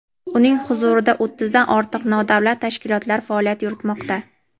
uning huzurida o‘ttizdan ortiq nodavlat tashkilotlar faoliyat yuritmoqda.